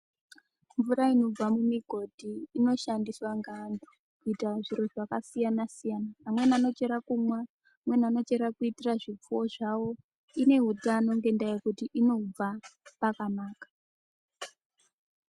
Mvura inobva mumigodhi inoshandiswa ngevantu kuita zviro zvakasiyana siyana. Vamweni vanochera kumwa. Vamweni vanochera kuitire zvifuyo zvavo. Ine utano ngekuti inobva pakanaka.